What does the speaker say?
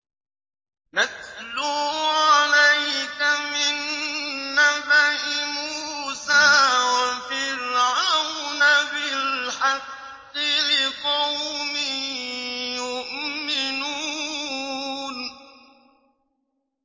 نَتْلُو عَلَيْكَ مِن نَّبَإِ مُوسَىٰ وَفِرْعَوْنَ بِالْحَقِّ لِقَوْمٍ يُؤْمِنُونَ